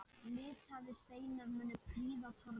Litaðir steinar munu prýða torgið.